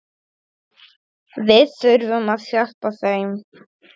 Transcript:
Við þurfum að hjálpa þeim.